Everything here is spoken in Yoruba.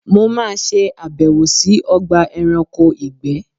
Mo má ṣe àbẹ̀wò sí Ogba eranko ìgbé